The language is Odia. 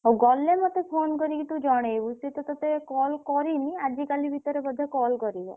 ହଉ ଗଲେ ମତେ phone କରିକି ଜଣେଇବୁ। ସିଏ ତ ତତେ call କରିନି ଆଜିକାଲି ଭିତରେ ବୋଧେ call କରିବ।